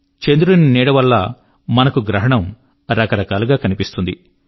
చంద్రుని నీడ వలన మనకు గ్రహణం రకరకాలుగా కనిపిస్తుంది